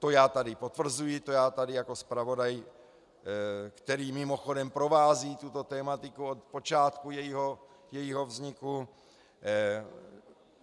To já tady potvrzuji, to já tady jako zpravodaj, který mimochodem provází tuto tematiku od počátku jejího vzniku.